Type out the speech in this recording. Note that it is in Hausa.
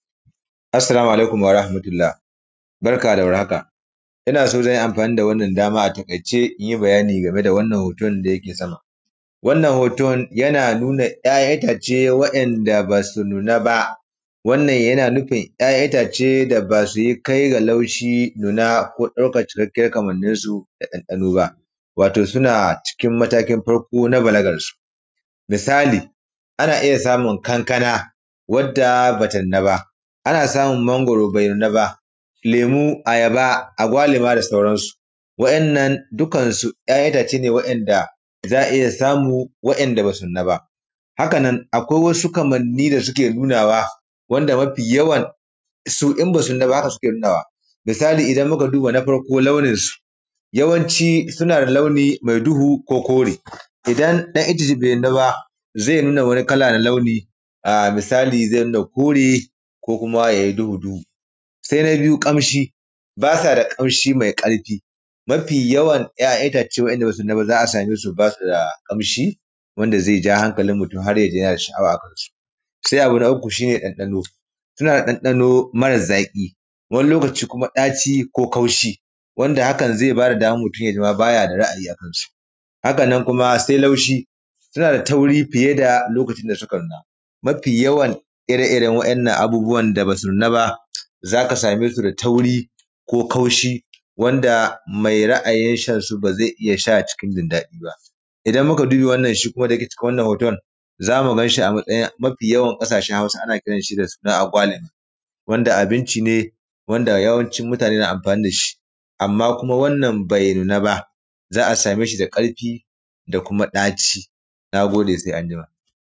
Assala mu alaikum warahamatulla barka da warhaaka. Ina so zan yi amfani da wanna dama a taƙaice in yi bayani game da wannan hoton da yake sama, wannan hoton yana nuna ‘ya’yan itace waɗanda ba su nuna ba wannan yana nufin ‘ya’yan itace da ba su kai da laushi ɗuna ko ɗaukan ta daga kalan kamanninsu na ɗanɗano ba. Wato suna cikin matakin farko na balagarsu misali ana iya samun ƙanaƙana wadda ba ta nuna ba, ana samun mangwaro be nuna ba, lemu, ayaba, agwaluma da sauransu waɗannan dukan su ‘ya’yan itace ne waɗanda za a iya samu waɗanda ba su nuna ba, hakan nan akwai wasu ƙanni da suke nuna wa wanda mafiyawansu in ba su nuna ba haka suke nunawa, misali idan muka duba na farko launinsu yawanci suna da launi me duhu ko kuma kore idan ɗayan su be nuna ba, ze nuna wani kala na launi a misali ze nuna kore ko kuma ya yi duhu, se na biyu ƙamshi ba ta da ƙamshi mai ƙarfi mafiyawan ‘ya’yan itace waɗanda ba su nuna ba za a iya samun su ba su da ƙamshi wanda ze ja hankalin mutum har ya ji yana sha’awa. Se abu na uku shi ne ɗanɗano suna da ɗanɗano mara zaƙi, wani lokaci kuma ɗaci ko kaushi wanda hakan ma ze ba da daman mutum ya ji ma ba shi da ra’ayi akan su, hakan nan kuma se laushi suna da tauri fiye da yanayin da suka nuna mafiyawan ire-iren waɗannan abubuwan da ba su nuna ba za ka same su da tauri ko kaushi wanda me ra’a yin shi ba ze iya sha cikin daɗi ba, idan muka duba wannan shi kuma da ke cikin wannan hoton za mu ganshi a matsayin mafiyawan ƙasashen Hausa ana kiran shi da suna agwalemu wanda abinci ne wanda yawancin mutane na amfani da shi, amma kuma wanann be nuna ba za a same shi da ƙarfi da kuma ɗaci. Na gode, se an jima.